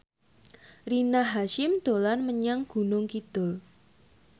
Rina Hasyim dolan menyang Gunung Kidul